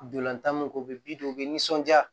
Dolantan mun ko u bɛ u bɛ nisɔndiya